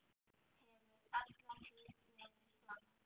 Hefur alla tíð verið svona.